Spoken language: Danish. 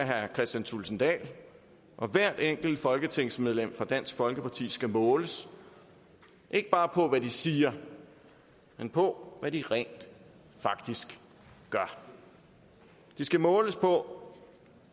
herre kristian thulesen dahl og hvert enkelt folketingsmedlem fra dansk folkeparti skal måles ikke bare på hvad de siger men på hvad de rent faktisk gør de skal måles på